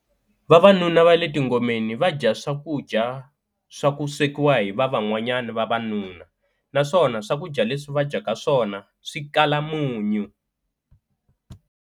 Vavanuna va le tingomeni va dya swakudya swa ku swekiwa hi va van'wanyana vavanuna naswona swakudya leswi va dyaka swona swi kala munyu.